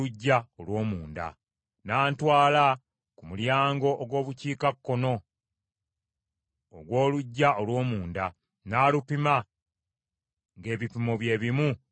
N’antwala ku mulyango ogw’Obukiikakkono ogw’oluggya olw’omunda n’alupima ng’ebipimo bye bimu ng’emiryango emirala.